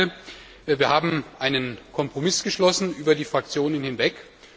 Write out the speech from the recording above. Zweitens Wir haben einen Kompromiss geschlossen über die Fraktionen hinweg.